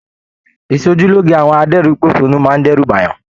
Ìsòjúloge àwọn adẹ́rínposónú máa n d'ẹru b'ayan.